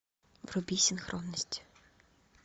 вруби синхронность